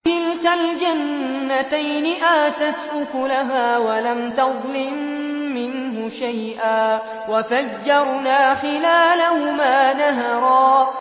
كِلْتَا الْجَنَّتَيْنِ آتَتْ أُكُلَهَا وَلَمْ تَظْلِم مِّنْهُ شَيْئًا ۚ وَفَجَّرْنَا خِلَالَهُمَا نَهَرًا